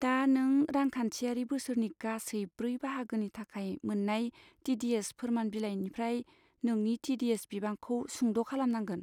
दा नों रांखान्थियारि बोसोरनि गासै ब्रै बाहागोनि थाखाय मोन्नाय टि.डि.एस. फोरमान बिलाइनिफ्राय नोंनि टि.डि.एस. बिबांखौ सुंद खालामनांगोन।